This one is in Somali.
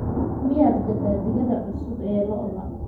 miyaa gadaa digada cusub ee lo'da